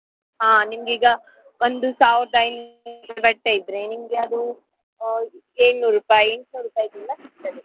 ಹಾ ನಿಮ್ಗೀಗ ಒಂದು ಸಾವಿರದ ಐನೂರದ್ದು ಬಟ್ಟೆ ಇದ್ರೆ ನಿಮ್ಗೆ ಅದು ಏಳ್ನೂರು ರುಪಾಯಿ ಸಿಗ್ತದೆ.